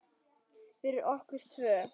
Fyrir okkur tvö.